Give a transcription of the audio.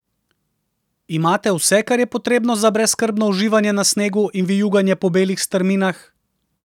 Imate vse, kar je potrebno za brezskrbno uživanje na snegu in vijuganje po belih strminah?